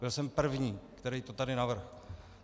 Byl jsem první, který to tady navrhl.